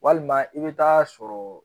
Walima i bɛ taa sɔrɔ